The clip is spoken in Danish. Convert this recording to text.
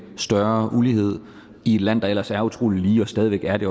større ulighed i et land der ellers er utrolig lige og stadig væk er det